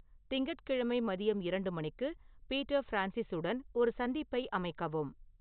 திங்கட்கிழமை மதியம் இரண்டு மணிக்கு பீட்டர் ஃபிரான்சிஸுடன் ஒரு சந்திப்பை அமைக்கவும்